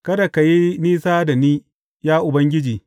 Kada ka yi nisa da ni, ya Ubangiji.